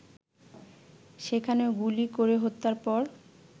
সেখানে গুলি করে হত্যার পর